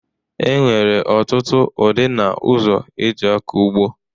E nwere ọtụtụ udị na ụzọ e ji akọ ugbo.